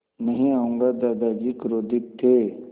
नहीं आऊँगा दादाजी क्रोधित थे